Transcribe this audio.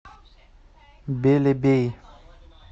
белебей